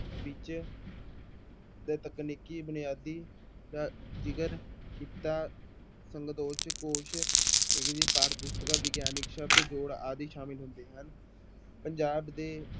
ਵਿੱਚ ਦਾ ਤਕਨੀਕੀ ਬੁਨਿਆਦੀ ਦਾ ਜ਼ਿਕਰ ਕੀਤਾ ਕੋਸ਼ ਪਾਠ ਪੁਸਤਕਾਂ ਵਿਗਿਆਨਕ ਸ਼ਬਦ ਜੋੜ ਆਦਿ ਸਾਮਲ ਹੁੰਦੇ ਹਨ ਪੰਜਾਬ ਦੇ